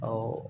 Ɔ